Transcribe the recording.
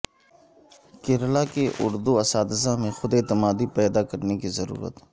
کیرالا کے اردو اساتذہ میں خود اعتمادی پیدا کرنے کی ضرورت